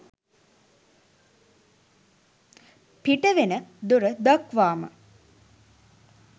පිට වෙන දොර දක්වාම